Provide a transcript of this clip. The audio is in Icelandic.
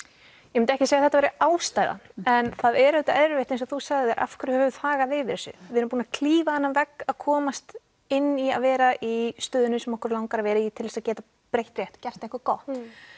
ég myndi ekki segja að þetta væri ástæðan en það er auðvitað erfitt eins og þú sagðir af hverju höfum við þagað yfir þessu við erum búnar að klífa þennan vegg að komast inn í að vera í stöðunni sem að okkur langar að vera í til þess að geta breytt rétt gert eitthvað gott